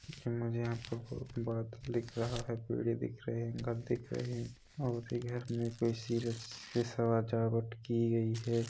मुझे यहाँ पे बहुत बड़ा दिख रहा है पेड़े दिख रहे है घर दिख रहे है और ये घर में से सजावट की गई है।